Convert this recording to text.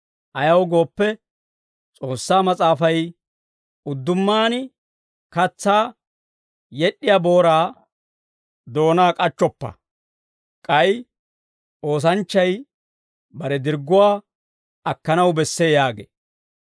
Ayaw gooppe, S'oossaa Mas'aafay, «Uddumaan katsaa yed'd'iyaa booraa doonaa k'achchoppa» k'ay, «Oosanchchay bare dirgguwaa akkanaw bessee» yaagee.